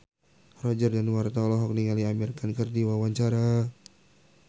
Roger Danuarta olohok ningali Amir Khan keur diwawancara